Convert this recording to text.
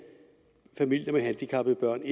familier med handicappede børn